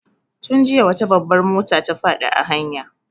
Tun jiya wata babbar mota ta faɗi a hanya.